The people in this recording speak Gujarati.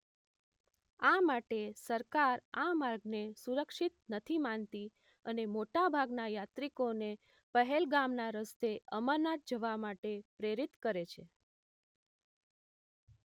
આ માટે સરકાર આ માર્ગને સુરક્ષિત નથી માનતી અને મોટાભાગના યાત્રિકોને પહેલગામના રસ્તે અમરનાથ જવા માટે પ્રેરિત કરે છે